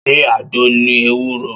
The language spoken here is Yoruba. Ṣé àgbo ni ewúro?